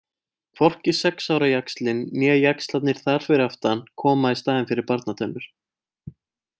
Hvorki sex ára jaxlinn né jaxlarnir þar fyrir aftan koma í staðinn fyrir barnatennur.